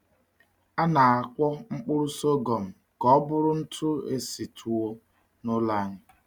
A na-akwọ mkpụrụ sọgọm ka ọ bụrụ ntụ esi tuwo n’ụlọ anyị.